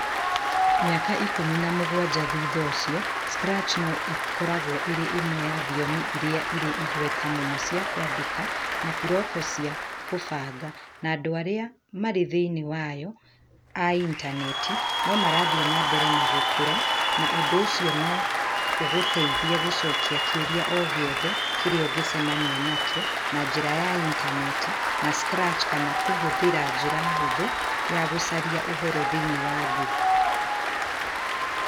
Mĩaka 17 thutha ũcio, Scratch no ĩkoragwo ĩrĩ ĩmwe ya thiomi iria irĩ igweta mũno cia kwandĩka na bũroko cia kũbanga, na andũ arĩa marĩ thĩinĩ wayo a intaneti no marathiĩ na mbere na gũkũra -na ũndũ ũcio no ũgũteithie gũcokia kĩũria o gĩothe kĩrĩa ũngĩcemania nakĩo na njĩra ya intaneti ya Scratch kana kũhũthĩra njĩra hũthũ ya gũcaria ũhoro thĩinĩ wa Google.